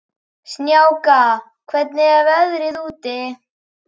Snjáka, hvernig er veðrið úti?